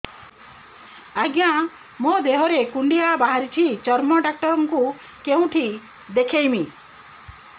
ଆଜ୍ଞା ମୋ ଦେହ ରେ କୁଣ୍ଡିଆ ବାହାରିଛି ଚର୍ମ ଡାକ୍ତର ଙ୍କୁ କେଉଁଠି ଦେଖେଇମି